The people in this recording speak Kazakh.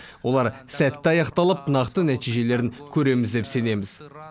олар сәтті аяқталып нақты нәтижелерін көреміз деп сенеміз